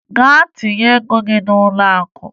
Gaa tinye ego gị n'ụlọakụ!